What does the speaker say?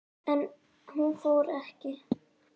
En hún fór ekki langt.